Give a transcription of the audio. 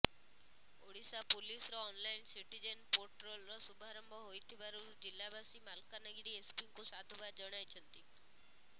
ଓଡିଶା ପୁଲିସର online citizen portal ର ସୁଭାରମ୍ଭ ହୋଇଥିବାରୁ ଜିଲ୍ଲାବାସୀ ମାଲକାନଗିରି ଏସପି ଙ୍କୁ ସାଧୁବାଦ ଜଣାଇଛନ୍ତି